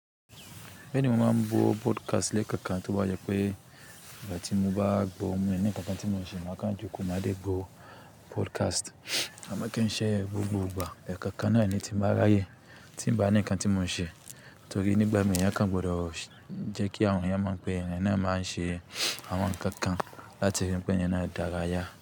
Bẹ́ẹ̀ ni mo máa ń gbo podcast lé ẹ̀kookan, toba jẹ́ pé ìgbà tí mo bá gbo mi o ní nkankan tí mò ń ṣe máa kan jókòó máa dé gbo podcast. Àmọ́ kí n ṣe gbogbo ìgbà, ẹ̀kookan náà ni tí mo ba ra ye, tí mi ń bá ní ǹkan tí mò ń ṣe. Torí nígbà mìíràn eeyan gbọdọ̀ jẹ́ kí àwọn ènìyàn mọ̀ pé ẹ̀eyan náà máa ń ṣe àwọn ǹkan kan láti ri pé ẹ̀eyan náà dára yá.